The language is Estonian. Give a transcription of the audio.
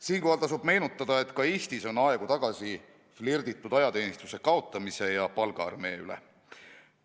Siinkohal tasub meenutada, et ka Eestis on aegu tagasi flirditud mõttega ajateenistuse kaotamisest ja palgaarmee loomisest.